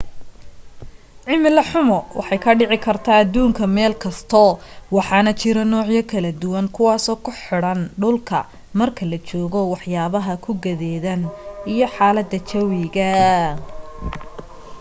cimilo xumo waxa ay ka dhici kartaa aduunka meel kasto waxaana jiro nuucyo kala duwan kuwaaso ku xiran dhulka marka la joogo wax yaabaha ku gadeedan iyo xaalada jawiga